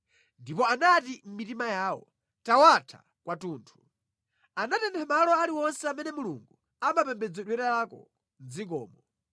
Ndipo anati mʼmitima yawo, “Tawatha kwathunthu.” Anatentha malo aliwonse amene Mulungu amapembedzedwerako mʼdzikomo.